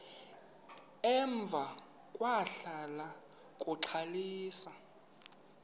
emva kwahlala uxalisa